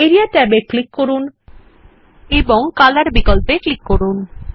area ট্যাবে click করুন এবং কলর বিকল্প এ ক্লিক করুন